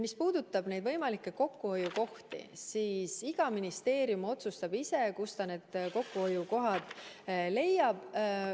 Mis puudutab neid võimalikke kokkuhoiukohti, siis iga ministeerium otsustab ise, kust ta need kokkuhoiukohad leiab.